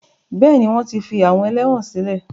Bẹ́ẹ̀ni, wọ́n ti fi àwọn ẹlẹ́wọn sílẹ̀.